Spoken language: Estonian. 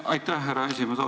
Aitäh, härra esimees!